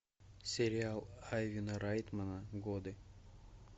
сериал айвена райтмана годы